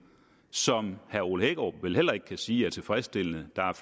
som herre ole hækkerup vel heller ikke kan sige er tilfredsstillende der er